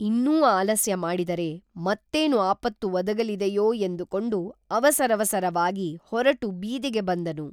ಇನ್ನೂ ಆಲಸ್ಯ ಮಾಡಿದರೆ ಮತ್ತೇನು ಆಪತ್ತು ಒದಗಲಿದೆಯೋ ಎಂದುಕೊಂಡು ಅವಸರಸವಾಗಿ ಹೊರಟು ಬೀದಿಗೆ ಬಂದನು